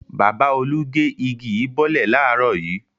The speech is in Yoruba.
Bàbá Olú gé igi yìí bọ́lẹ̀ láàárọ̀ yìí.